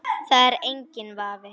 Það er enginn vafi.